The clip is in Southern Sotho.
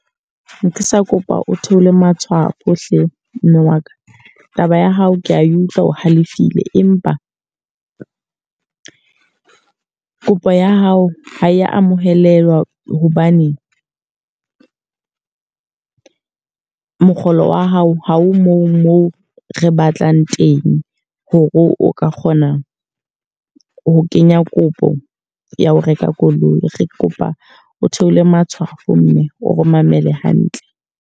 Ne ka sa kopa o theole matshwao hle mme wa ka. Taba ya hao ke a utlwa o halefile. Empa kopo ya hao ha e amohelwa hobane mokgolo wa hao ha o moo moo re batlang teng, ho re o ka kgona ho kenya kopo ya ho reka koloi. Re kopa o theole matshwafo mme. O re mamele hantle.